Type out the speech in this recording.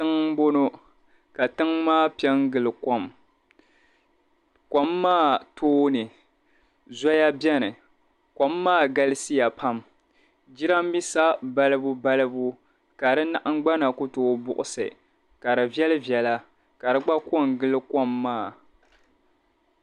Tiŋ m-bono ka tiŋ maa pe n-gili kom kom maa tooni zɔya beni kom maa galisiya pam jirambiisa balibu balibu ka si nahingbana ku too buɣusi ka di viɛli viɛla ka di gba ko n-gili kom maa.